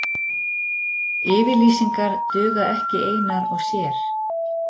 Yfirlýsingar duga ekki einar og sér.